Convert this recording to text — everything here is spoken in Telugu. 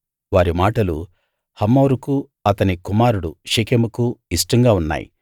వారి మాటలు హమోరుకూ అతని కుమారుడు షెకెముకూ ఇష్టంగా ఉన్నాయి